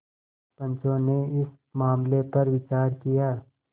पंचो ने इस मामले पर विचार किया